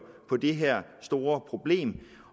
på det her store problem